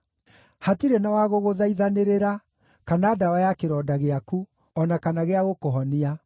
Hatirĩ na wa gũgũthaithanĩrĩra, kana ndawa ya kĩronda gĩaku, o na kana gĩa gũkũhonia.